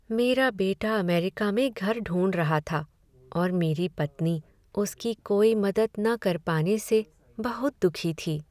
मेरा बेटा अमेरिका में घर ढूंढ रहा था और मेरी पत्नी उसकी कोई मदद न कर पाने से बहुत दुखी थी।